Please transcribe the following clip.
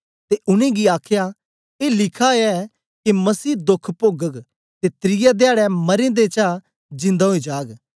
ते उनेंगी आखया ए लिखा ऐ के मसीह दोख पोगग ते त्रिऐ धयाडै मरें दें चा जिंदा ओई जाग